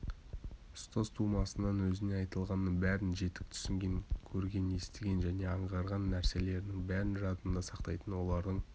ұстаз тумысынан өзіне айтылғанның бәрін жетік түсінген көрген естіген және аңғарған нәрселерінің бәрін жадында сақтайтын олардың